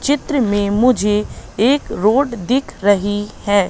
चित्र में मुझे एक रोड दिख रही है।